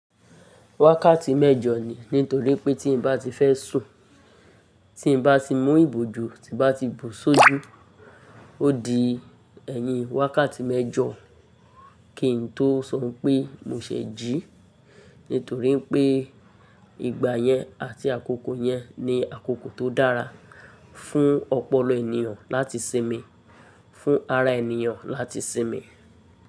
Wákàtí mẹ́jọ ni, nítorí pé tí n bá ti fẹ́ sùn, tí n bá ti mú ìbòjú, tí n bá ti bò sójú, ó di ẹ̀yin wákàtí mẹ́jọ kí n tó sọ pé mo ṣẹ̀ jí. Nítorí pé ìgbà yẹn àti àkókò yẹn ni àkókò tó dára fún ọpọlọ ènìyàn láti sinmi, fún ara ènìyàn láti sinmi.